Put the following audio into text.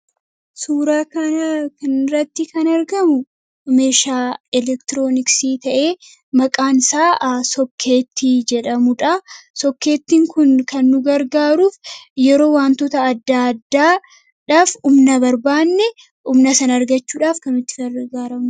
Suuraa kanaa gadii irratti kan argamu meeshaa elektirooniksii ta'ee maqaan isaas sookkeettii kan jedhamuu dha. Innis kan fayyadu yeroo humna addaa addaa barbaadnu kan fayyadamnuu dha.